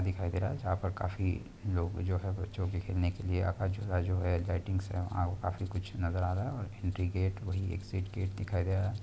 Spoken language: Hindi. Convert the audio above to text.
दिखाई दे रहा है जहां पर काफी लोग जो है बच्चों के खेलने के लिए जो है लाइटिंगस है वहां काफी कुछ नजर आ रहा है और एंट्री गेट वही एग्जिट गेट दिखाई दे रहा है।